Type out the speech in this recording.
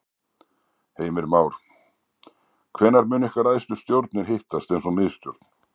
Heimir Már: Hvenær munu ykkar æðstu stjórnir hittast eins og miðstjórn?